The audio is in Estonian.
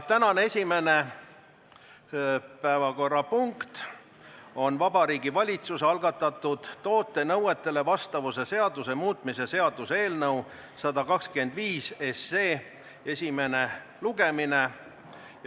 Tänane esimene päevakorrapunkt on Vabariigi Valitsuse algatatud toote nõuetele vastavuse seaduse muutmise seaduse eelnõu 125 esimene lugemine.